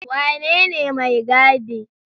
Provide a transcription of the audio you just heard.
Wanene mai gaɗi?